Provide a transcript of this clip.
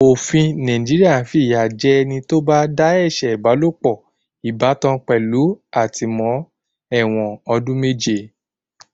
Òfin Nàìjíríà fi ìyà jẹ ẹni tó bá dá ẹ̀ṣẹ̀ ìbálòpọ̀ ìbátan pẹ̀lú àtìmó-ẹ̀wọ̀n ọdún méje.